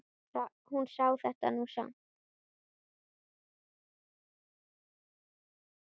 Hún sá þetta nú samt.